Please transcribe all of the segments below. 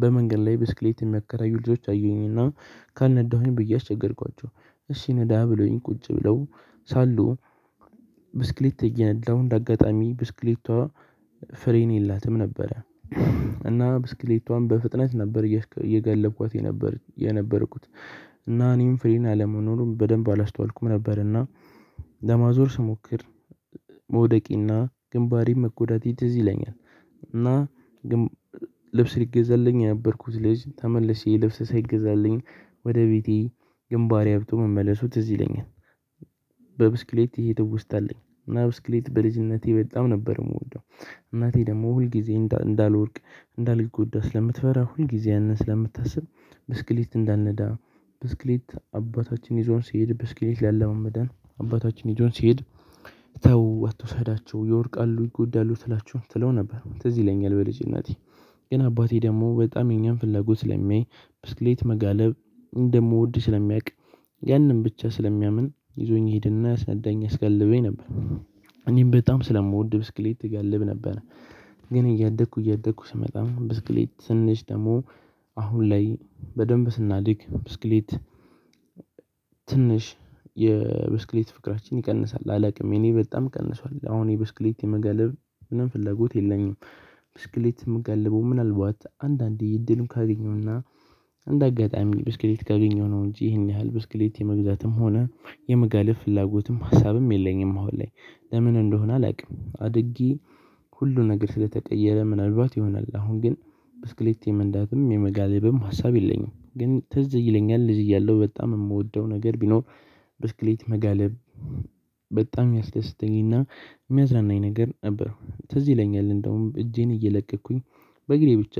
በመንገድ ላይ ብስክሌት የሚያከራዩ ልጆች አየሁኝና ካልነዳሁኝ ብዬ አስቸገርኳቸው። እሺ ንዳ ብለውኝ ቁጭ ብለው ሳሉ ብስክሌት እየነዳው እንደ አጋጣሚ ብስክሌቷ ፍሬን የላትም ነበረ። እና ብስክሌቷም በፍጥነት ነበር እየጋለብኳት የነበርኩት እና እኔም ፍሬና አለመኖሩም በደንብ አላስተዋልኩም ነበር እና ለማዞር ስሞክር መውደቄና ግንባሬን መጎዳቴ ትዝ ይለኛል። እና ልብስ ሊገዛልኝ የነበርኩት ልጅ ተመልሼ ልብስ ሳይገዛልኝ ወደ ቤቴ ግንባሬ አብጦ መመለሱ ትዝ ይለኛል። በብስክሌት ይሄ ትውስ ታአለኝ እና ብስክሌት በልጅነቴ በጣም ነበር ምወደው። እናቴ ደግሞ ሁል ጊዜ እንዳልወድቅ እንዳልጎዳ ስለምትፈራ ሁልጊዜ ያንን ስለምታስብ ብስክሌት እንዳልነዳ ብስክሌት አባታችን ይዞን ሲሄድ ብስክሌት ልያለማምደን አባታችን ይዞን ሲሄድ ተው አትውሰዳቸው ይወድቃሉ ይጎዳሉ ትላቸው ትለው ነበር ትዝ ይለኛል። በልጅነቴ ግን አባቴ ደግሞ በጣም የኛን ፍላጎት ስለሚይ ብስክሌት መጋለብ እንደምወድ ስለሚያውቅ ያንን ብቻ ስለሚያምን ይዞኝ ይሄድና ያስነዳኝ ያስጋልበኝ ነበር። እኔም በጣም ስለምወድ ብስክሌት እጋልብ ነበር። ግን እያደኩ እያደኩ ስመጣ ብስክሌት ትንሽ ደግሞ አሁን ላይ በደንብ ስናድግ ብስክሌት ትንሽ የብስክሌት ፍቅራችን ይቀንሳል አላውቅም የኔ በጣም ቀንሷል አሁን የብስክሌት የመጋልለብ ምንም ፍለጎት የለኝም። ብስክሌት ምጋልበው ምናልባት አንዳንዴ እድሉን ካገኘውና እንደ አጋጣሚ ብስክሌት ካገኘሁ ነው እንጂ ይህን ያህል ብስክሌት የመግዛትም ሆነ የመጋለብ ፍላጎትም ሀሳብም የለኝም አሁን ላይ ለምን እንደሆነ አላውቅም? አድጌ ሁሉ ነገር ስለተቀየረ ምናልባት ይሆናል። አሁን ግን ብስክሌት የመንዳትም የመጋለብም ሀሳብ የለኝም። ግን ትዝ ይለኛል ልጅ እያለሁ በጣም ምወደው ነገር ቢኖር ብስክሌት መጋለብ። በጣም ሚያስደስተኝና ሚያዝናናኝ ነገር ነበር። ትዝ ይለኛል። እንደውም እጄን እየለቀኩኝ በእግሬ ብቻ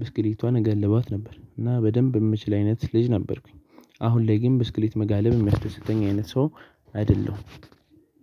ብስክሌቷን እጋልባት ነበር እና በደንብ ምችል አይነት ልጅ ነበርኩኝ። አሁን ላይ ግን ብስክሌት መጋለብ የሚያስደስተኝ አይነት ሰው አይደለሁም።